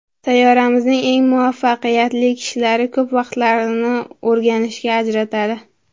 Sayyoramizning eng muvaffaqiyatli kishilari ko‘p vaqtlarini o‘rganishga ajratadi.